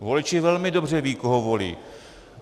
Voliči velmi dobře vědí, koho volí.